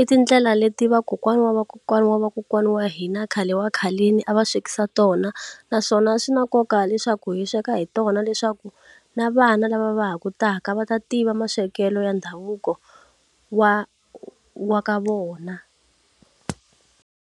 i tindlela leti vakokwana wa vakokwana wa vakokwana wa hina khale wa khaleni a va swekisa tona naswona swi na nkoka leswaku hi sweka hi tona leswaku na vana lava va ha ku taka va ta tiva maswekelo ya ndhavuko wa wa ka vona.